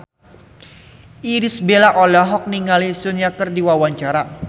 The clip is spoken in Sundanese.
Irish Bella olohok ningali Sun Yang keur diwawancara